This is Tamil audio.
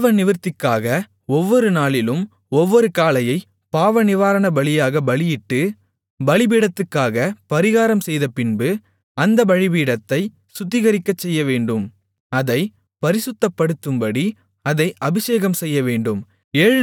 பாவநிவிர்த்திக்காக ஒவ்வொரு நாளிலும் ஒவ்வொரு காளையைப் பாவநிவாரண பலியாகப் பலியிட்டு பலிபீடத்துக்காகப் பரிகாரம் செய்தபின்பு அந்தப் பலிபீடத்தைச் சுத்திகரிக்கசெய்யவேண்டும் அதைப் பரிசுத்தப்படுத்தும்படி அதை அபிஷேகம்செய்யவேண்டும்